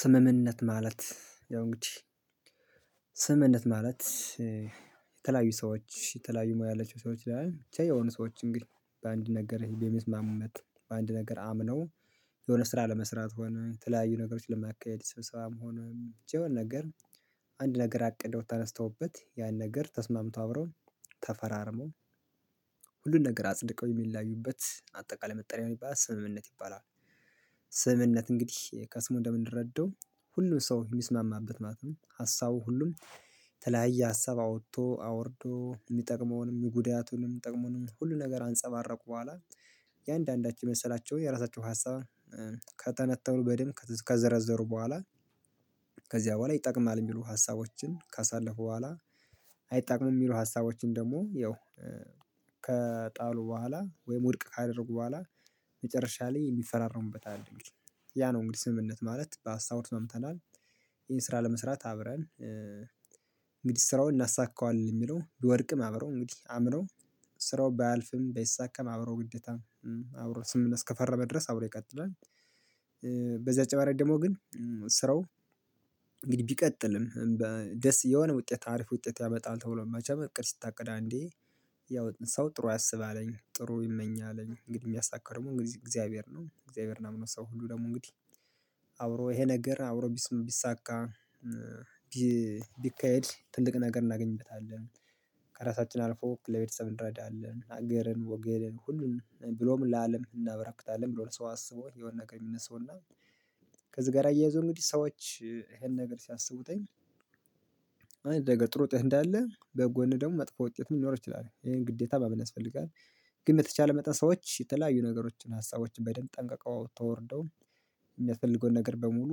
ስምምነት ማለት ያው እንግዲህ ስምምነት ማለት የተለያዩ ሰዎች የተለያዩ ሙያ ያለችው ሰዎች ይላል ብቻ የሆኑ ሰዎች እንግዲህ በአንድ ነገር የሚስማሙበት በአንድ ነገር አምነው የሆነ ስራ ለመስራት ሆነ የተለያዩ ነገሮችን ለማካሄድ ስብሰባ መሆን የሆነ ነገር አንድ ነገር አቅደው ተነስተውበት ያን ነገር ተስማምቶ አብረው ተፈራርመው ሁሉን ነገር አጽድቀው የሚለያዩበት አጠቃላይ መጠሪያ የሚባል ስምምነት ይባላል። ስምምነት እንግዲህ ከስሙ እንደምንረዳው ሁሉም ሰው የሚስማማበት ማለት ነው። ሀሳቡ ሁሉም ተለያየ ሀሳብ አውጥቶ አወርዶ የሚጠቅመውንም ጉዳያቱንም ጥቅሙንም ሁሉ ነገር ከአንፀባረቁ በኋላ የአንዳንዳቸው የመሰላቸውን የራሳቸው ሀሳብ ከተነተሩ በደንብ ከዘረዘሩ በኋላ። ከዚያ በኋላ ይጠቅማል የሚሉ ሀሳቦችን ካሳለፉ በኋላ አይጣቅሙም የሚሉ ሀሳቦችን ደግሞ ያው ከጣሉ በኋላ ወይም ውድቅ ካደረጉ በኋላ መጨረሻ ላይ የሚፈራረሙበት አለ ያ ነው እንግዲህ ስምምነት ማለት በሀሳቡ ተስማምተናል። ይሄን ስራ ለመስራት አብረን እንግዲህ ስራውን እናሳካዋለን የሚለው ቢወርድም አብረው እንግዲህ አብረው ስራው ባያልፍም በይሳካም አብሮ ግዴታም አብሮ ስምምነት እስከፈረመ ድረስ አብሮ ይቀጥላል። በዚህ አጭር ማድረግ ደግሞ ግን ስራው እንግዲህ ቢቀጥልም የሆነ ውጤት አሪፍ ውጤት ያመጣል። ተብሎ መቼም እቅድ ስታቅድ አንዴ ያው ሰው ጥሩ ያስባለኝ ጥሩ ይመኛለኝ እንግዲህ የሚያሳካው ደግሞ እንግዲህ እግዚአብሔር ነው እግዚአብሔርን አምኖ ሰው ሁሉ ደግሞ እንግዲህ አብሮ ይሄ ነገር አብሮ ቢሳካ ቢካሄድ ትልቅ ነገር እናገኝበታለን። ከራሳችን አልፎ ለቤተሰብ እንረዳለን ሀገርን ወገንን ሁሉን ብሎም ለአለም እናበራክታለን ብሎ ለሰው አስቦ የሆነ ነገር የሚነሳው እና ከዚህ ጋር አያይዞ እንግዲህ ሰዎች ይሄን ነገር ሲያስቡት ነገ ጥሩ እድል እንዳለ በጎን ደግሞ መጥፎ ውጤት ምን ሊኖር ይችላል ይሄን ግዴታ ማመን ያስፈልጋል። ግን በተቻለ መጠን ሰዎች የተለያዩ ነገሮችን ሀሳቦችን በደንብ ጠንቅቀው ተወርደው የሚያስፈልገውን ነገር በሙሉ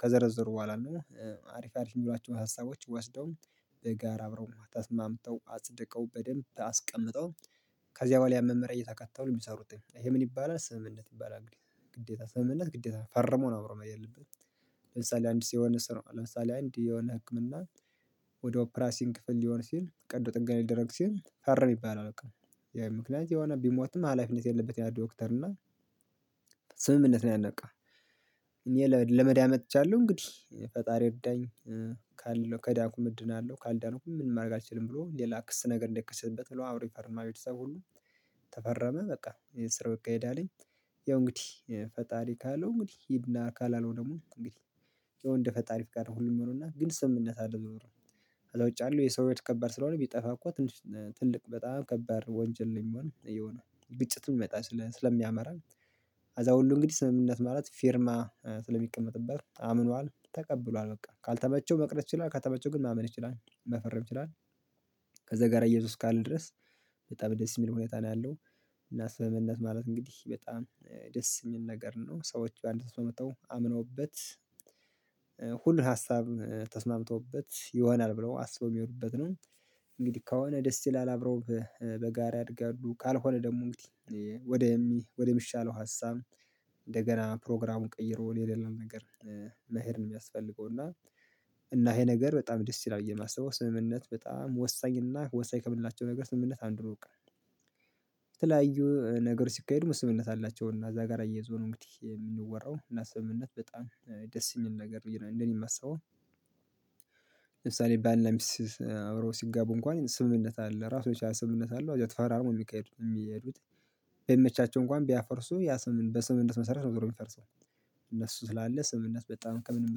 ከዘረዘሩ በኋላ ነው። አሪፍ አሪፍ የሚሏቸውን ሀሳቦች ወስደው በጋራ አብረው ተስማምተው አጽድቀው በደንብ አስቀምጠው ከዚያ በኋላ ያመመሪያ እየተከተሉ የሚሰሩት ይሄ ምን ይባላል ስምምነት ይባላል። ግዴታ ግዴታ ሰምህነት ግዴታ ፈርሞ ነው። አብሮን የለብንም ለምሳሌ አንድ ሲሆንስ ነው ለምሳሌ አንድ የሆነ ህክምና። ወደ ኦፕራሲንግ ክፍል ሊሆን ሲል ቀዶ ጥንቃቄ ሊደረግ ሲል ፈርም ይባላል በቃ ይሄ ምክንያት የሆነ ቢሞትም ሀላፊነት የለበትም። ያ ዶክተር እና ስምምነት ነው ያነቀው እኔ ለመዳን መጥቻለሁ እንግዲህ ፈጣሪ ይርዳኝ። ካለሁ ከዳንኩኝ እድናለሁ ነው ካልዳኩ ምን ማድረግ አልችልም ብሎ ሌላ ክስ ነገር እንዳይከሰተበት ብሎ አዎ ብሎ ይፈርማል ቤተሰቡ ሁሉ ተፈረመ በቃ ስራው ይካሄድ አለኝ። ያው እንግዲህ ፈጣሪ ካለው እንግዲህ ሂድና ካላለው ደግሞ እንግዲህ የወንድ ፈጣሪፍ ጋር ሁሉም ሆኖና ግን ሰምነት አለው ኖሮ። ነው ወጪ አለው የሰው ወደ ከባድ ከባድ ስለሆነ ቢጠፋ እኮ ትልቅ በጣም ከባድ ወንጀል ነው የሚሆነው። ግጭት የሚመጣ ስለሚያመራው ከዛሁሉ እንግዲህ ስምምነት ማለት ፊርማ ስለሚቀመጥበት አምኗል ተቀብሏል በቃ ካልተመቸው መቅረት ይችላል ከተመቸው ግን ማመን ይችላል መፈረም ይችላል። ከዛ ጋር እያይዞ እስካለ ድረስ በጣም ደስ የሚል ሁኔታ ነው ያለው። እና ስምምነት ማለት እንግዲህ በጣም ደስ የሚል ነገር ነው ሰዎች በአንድ ተስማምተው አምነውበት ሁሉን ሀሳብ ተስማምቶበት ይሆናል ብለው አስቦ የሚሆኑበት ነው። እንግዲህ ከሆነ ደስ ይል አላረው በጋራ ያድጋሉ ካልሆነ ደግሞ እንግዲህ ወደሚሻለው ሀሳብ እንደገና ፕሮግራሙን ቀይሮ የሌለን ነገር መሄድ ነው የሚያስፈልገው እና እና ይሄ ነገር በጣም ደስ ይላል የማስበው ስምምነት በጣም ወሳኝ እና ወሳኝ ከምላቸው ነገር ስምምነት አንድ ነው። የተለያዩ ነገር ሲካሄድ ምን ስምምነት አላቸው እና እዛ ጋር አየዞ ነው እንግዲህ የምንወራው እና ስምምነት በጣም ደስ የሚል ነገር ብዬ ነው እንደኔ የማስበው። ለምሳሌ ባለ እና ሚስት አብሮ ሲጋቡ እንኳን ስምምነት አለ እራሱን የቻለ ስምምነት አለው አዛው ተፈራርሞ የሚካሄዱት የሚሄዱት ባይመቻቸው እንኳን ቢያፈርሱ ያ ስምምነት በስምምነት መሰረት ነው የሚፈርሰው። እነሱ ስላለ ስምምነት በጣም ከምንም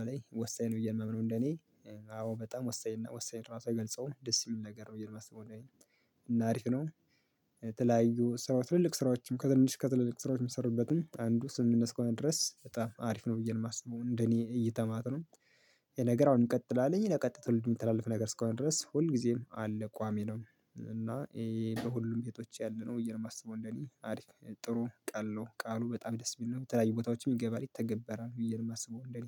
በላይ ወሳኝ ነው የማምነው እንደኔ። አዎ በጣም ወሳኝ ወሳኝ ራሱ አይገልጸውም ደስ የሚል ነገር ነው ብዬ ነው የማስበው እኔ እና አሪፍ ነው። ተለያዩ ስራ ትልልቅ ስራዎችም ከትንሽ ከትልልቅ ስራዎች የሚሰሩበትም አንዱ ስምምነት እስከሆነ ድረስ በጣም አሪፍ ነው ብዬ ነው የማስበው እንደኔ እይታ ማለት ነው። ይሄ ነገር አሁን እንቀጥላለን ለቀጣይ ትውልድ የምትተላለፈው ነገር እስካሁን ድረስ ሁል ጊዜም አለ ቋሚ ነው እና ይሄ በሁሉም ቤቶች ያለነው እማሰበው እንደእኔ አሪፍ ጥሩ ቃል ነው ቃሉ በጣም ደስ የሚል ነው የምትለያዩ ቦታዎችም ይገባል ይተገበራል ብዬ ነው የማስበው እንደኔ።